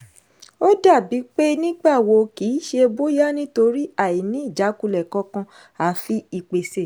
ó dàbí pé “nígbà wo” kìí ṣe “bóyá” nítorí àìní ìjákulẹ̀ kankan àfi ìpèsè.